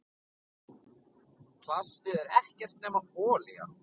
Plastið er ekkert nema olía.